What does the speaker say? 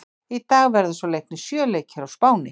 Í dag verða svo leiknir sjö leikir á Spáni.